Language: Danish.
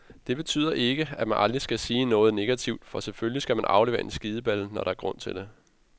Det betyder ikke, at man aldrig skal sige noget negativt, for selvfølgelig skal man aflevere en skideballe, når der er grund til det.